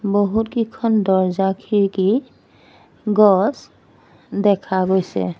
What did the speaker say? বহুতকেইখন দৰ্জা খিৰিকী গছ দেখা গৈছে।